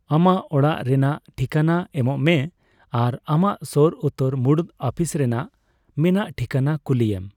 ᱟᱢᱟᱜ ᱚᱲᱟᱜ ᱨᱮᱱᱟᱜ ᱴᱷᱤᱠᱟᱹᱱᱟᱹ ᱮᱢᱚᱜ ᱢᱮ ᱟᱨ ᱟᱢᱟᱜ ᱥᱳᱨ ᱩᱛᱟᱹᱨ ᱢᱩᱲᱩᱫ ᱟᱹᱯᱤᱥ ᱨᱮᱭᱟᱜ ᱢᱮᱱᱟᱜ ᱴᱷᱤᱠᱟᱹᱱᱟ ᱠᱩᱞᱤᱭᱮᱢ ᱾